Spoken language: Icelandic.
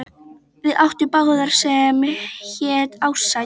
Við áttum bát sem hét Ársæll.